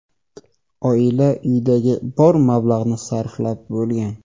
Oila uyidagi bor mablag‘ni sarflab bo‘lgan.